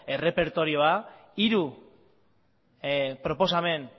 errepertorioa hiru proposamen